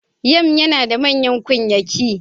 Yam yana da manyan ƙunyaki.